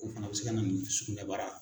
O fana bɛ se ka na nin sugunɛbara